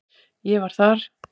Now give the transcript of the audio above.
Ég var þar